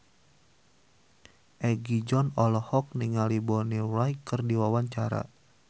Egi John olohok ningali Bonnie Wright keur diwawancara